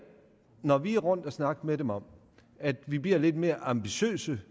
når vi er rundt at snakke med dem om at vi bliver lidt mere ambitiøse